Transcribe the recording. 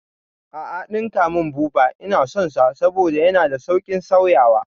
A'a ɗinka mun buba, Ina son sa saboda yana da sauƙin sauyawa